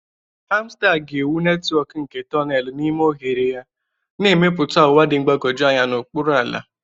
Hamster ga-ewu netwọk nke tonelu n'ime oghere ya, na-emepụta ụwa dị mgbagwoju anya n'okpuru ala.